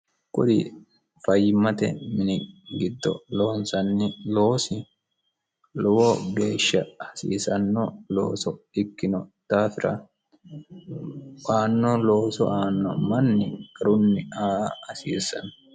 Kuri fayyimmate mini giddo loonsanni loosi lowo geeshsha hasiisanno looso ikkino daafira aanno looso aanno manni garunni aa hasiissanno.